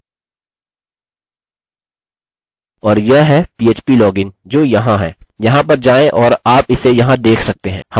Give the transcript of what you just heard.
और यह है phplogin जो यहाँ है यहाँ पर जाएँ और आप इसे यहाँ देख सकते हैं